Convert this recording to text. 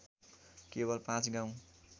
केवल पाँच गाउँ